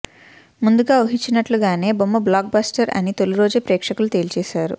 ముందుగా ఊహించినట్లుగానే బొమ్మ బ్లాక్ బస్టర్ అని తొలిరోజే ప్రేక్షకులు తేల్చేశారు